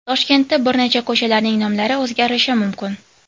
Toshkentda bir necha ko‘chalarning nomlari o‘zgarishi mumkin.